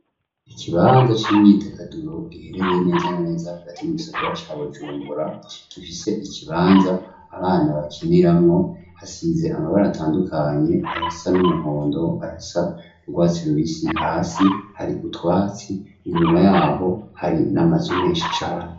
Ikibanza c'imyidagaduro giherereye neza na neza hagati mu gisagara ca Bujumbura gifise ikibanza abana bakiniramwo hasize amabara atandukanye ayasa n'umuhondo, ayasa n'urwatsi rubisi hasi hari utwatsi inyuma yaho hari n'amazu menshi cane.